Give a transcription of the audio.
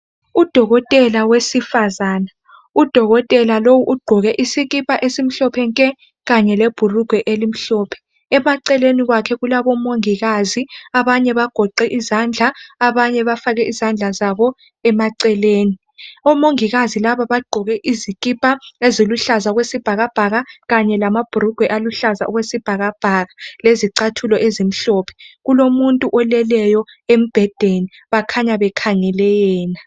Udokotela wefmsifazane Udokotela lo ugqoke isikipa esimhlophe nke kanye lebhulugwe elimhlophe eceleni kwakhe kulabo mongikazi abanye bagoqe izandla abanye bafake izandla zabo emaceleni odokotela laba bagqoke izikipa eziluhlaza okwesibhakabhaka kanye labhulugwe aluhlaza okwesibhakabhaka lezicathulo ezimhlophe kulomuntu oleleyo embhedeni bakhanya bekhangele yena